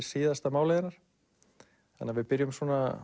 síðasta málið hennar þannig að við byrjum